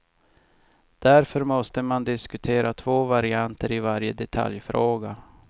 Därför måste man diskutera två varianter i varje detaljfråga.